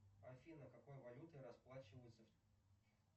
афина какой валютой расплачиваются